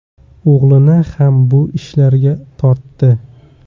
O‘g‘lini ham bu ishlarga tortdi.